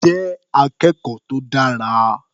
Jẹ́ akẹ́kọ̀ọ́ tó dára.